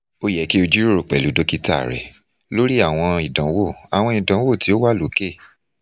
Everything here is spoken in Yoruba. o yẹ ki o jiroro pẹlu dokita rẹ lori awọn idanwo awọn idanwo ti o wa loke